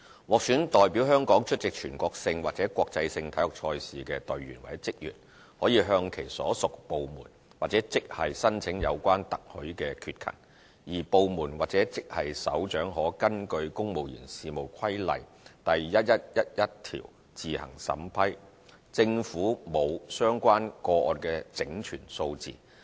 獲選代表香港出席全國性或國際性體育賽事的隊員或職員可向其所屬部門或職系申請有關特許缺勤，而部門或職系首長可根據《公務員事務規例》第1111條自行審批，政府沒有相關個案的整全數字。